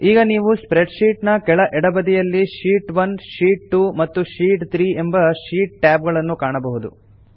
ಈಗ ನೀವು spreadsheet ನ ಕೆಳ ಎಡಬದಿಯಲ್ಲಿ ಶೀಟ್ 1 ಶೀಟ್ 2 ಮತ್ತು ಶೀಟ್ 3 ಎಂಬ ಶೀಟ್ ಟ್ಯಾಬ್ ಗಳನ್ನು ಕಾಣಬಹುದು